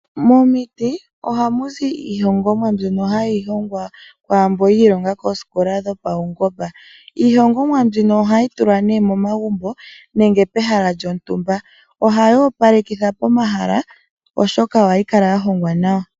Momiti ohamu zi iihongomwa kwaamboka yi ilonga koosikola dhopaungomba. Iihongomwa mbino ohayi tulwa nee momagumbo nenge pehala lyontumba. Ohayi opalekitha pomahala oshoka ohayi kala yahongwa nawa.